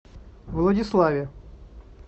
владиславе